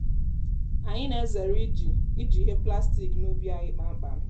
anyị na-ezere iji iji ihe plastik n'ubi anyị kpamkpam.